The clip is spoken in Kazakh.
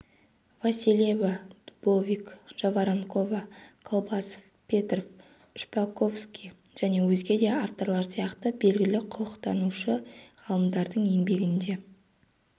васильева дубовик жаворонкова колбасов петров шпаковский және өзге де авторлар сияқты белгілі құқықтанушы ғалымдардың еңбектерінде